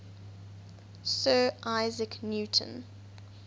sir isaac newton